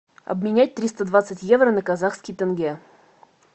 обменять триста двадцать евро на казахский тенге